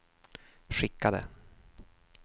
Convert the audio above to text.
skickade